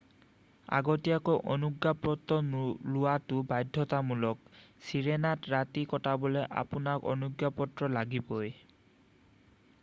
আগতীয়াকৈ অনুজ্ঞাপত্ৰ লোৱাটো বাধ্যতামূলক চিৰেনাত ৰাতি কটাবলৈ আপোনাক অনুজ্ঞাপত্ৰ লাগিবই